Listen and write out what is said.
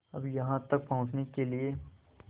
अब यहाँ तक पहुँचने के लिए